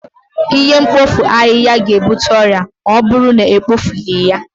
Ihe mkpofu ahịhịa ga-ebute ọrịa ma ọ bụrụ na ebupụghị ya